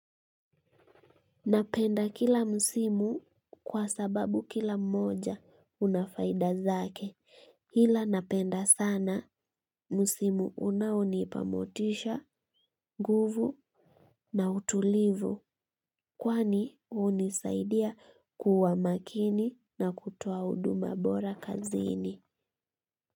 Napenda kila msimu kwa sababu kila mmoja una faida zake. Ila napenda sana msimu unaonipa motisha, nguvu na utulivu kwani hunisaidia kuwa makini na kutoa huduma bora kazini.